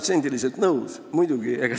Sada protsenti nõus!